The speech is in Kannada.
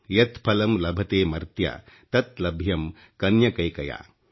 ಯತ್ ಫಲಂ ಲಭತೆ ಮತ್ರ್ಯ ತತ್ ಲಭ್ಯಂ ಕನ್ಯಕೈಕಯಾ